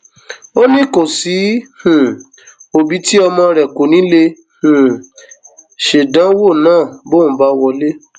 ó ní kò sí um òbí tí ọmọ rẹ kò ní í lè um ṣèdánwò náà bóun bá wọlé